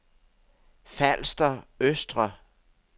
Falster Østre